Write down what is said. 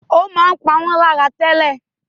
ó máa ń pá wọn láyà tẹ́lẹ̀